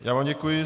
Já vám děkuji.